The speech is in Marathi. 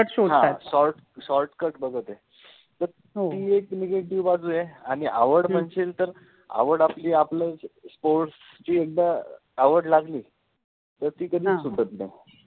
शोधतात, हा शॉर्ट shortcut बघते, तर ति एक negative बाजु आहे आणि आवड मनशिल तर आवड आपलि आपल sports चि एकदा आवड लागलि तर ति कधिच सुटत नाहि